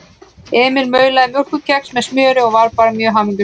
Emil maulaði mjólkurkex með smjöri og var bara hamingjusamur.